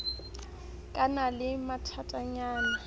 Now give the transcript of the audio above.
ke na le mathatanyana a